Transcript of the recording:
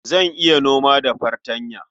Zan iya noma da fartanya.